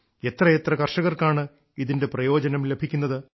എത്രയെത്ര കർഷകർക്കാണ് ഇതിന്റെ പ്രയോജനം ലഭിക്കുന്നത്